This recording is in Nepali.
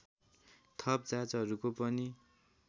थप जाँचहरूको पनि